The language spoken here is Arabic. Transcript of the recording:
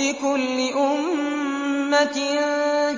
لِّكُلِّ أُمَّةٍ